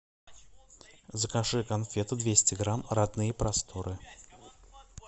закажи конфеты двести грамм родные просторы